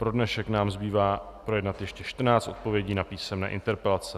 Pro dnešek nám zbývá projednat ještě 14 odpovědí na písemné interpelace.